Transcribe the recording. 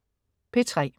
P3: